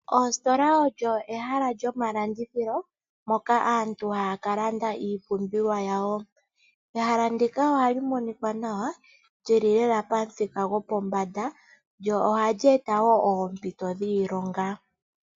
Oositola odho ehala lyomalandithilo moka aantu haya ka landa iipumbiwa yawo. Ehala ndika ohali monika nawa, lyili lela pamuthika gopombanda, lyo ohali eta wo oompito dhiilonga.